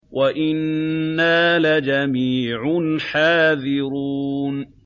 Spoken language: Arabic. وَإِنَّا لَجَمِيعٌ حَاذِرُونَ